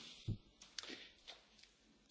Sehr geehrter Herr Präsident, vielen Dank!